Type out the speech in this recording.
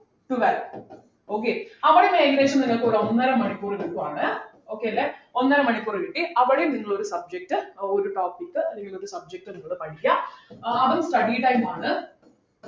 twelve okay അവിടെന്ന് ഏകദേശം നിങ്ങക്കിവിടെ ഒന്നര മണിക്കൂർ കിട്ടുവാണ് okay അല്ലെ ഒന്നരമണിക്കൂർ കിട്ടി അവിടെയും നിങ്ങൾ ഒരു subject ഏർ ഒരു topic അല്ലെങ്കിൽ ഒരു subject നിങ്ങൾ പഠിക്കാ ആഹ് അതും study time ആണ്